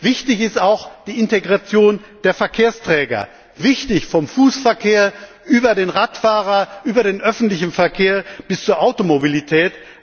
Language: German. Wichtig ist auch die Integration der Verkehrsträger, vom Fußverkehr über den Radfahrer und den öffentlichen Verkehr bis zur Automobilität.